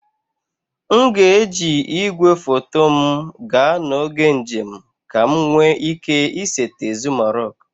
M ga-eji igwefoto m gaa n'oge njem ka m nwee ike isete Zuma rock